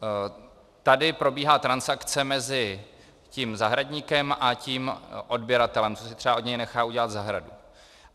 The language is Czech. Tady probíhá transakce mezi tím zahradníkem a tím odběratelem, co si třeba od něj nechá udělat zahradu.